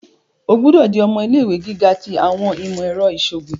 O gbọdọ di ọmọ ilé-ìwé giga ti awọn imọ-ẹrọ iṣoogun!